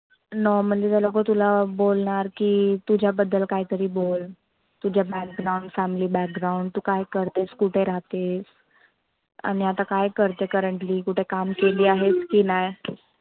Normally ते लोक तुला बोलनार की तुझ्याबद्दल काहीतरी बोल. तुझा background, family background तु काय करतेस कुठे राहतेस? आणि आता काय करते? currently कुठे काम केली आहेस की नाय?